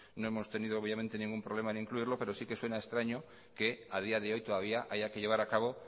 no hemos tenido obviamente ningún problema en incluirlo pero sí que suena extraño que a día de hoy todavía haya que llevar a cabo